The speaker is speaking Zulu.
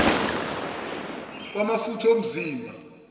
ukukalwa kwamafutha omzimba